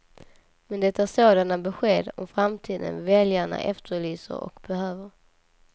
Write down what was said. Men det är sådana besked om framtiden väljarna efterlyser och behöver.